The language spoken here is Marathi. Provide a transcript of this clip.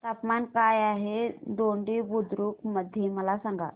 तापमान काय आहे दोडी बुद्रुक मध्ये मला सांगा